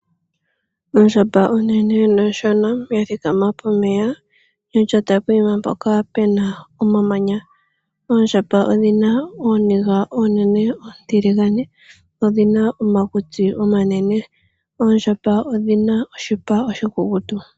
Ondjamba onene noshona ya thikama pomeya ya lyata poyima mpoka pena omamanya. Oondjamba odhi na ooniga oonene oontiligane, dho odhi na omakutsi omanene. Oondjamba odhi na oshipa oshikukutu.